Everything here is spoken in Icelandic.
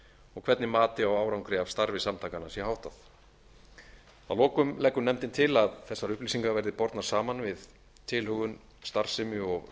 og hvernig mati á árangri af starfi samtakanna sé háttað að lokum leggur nefndin til að þessar upplýsingar verði bornar saman við tilhögun starfsemi og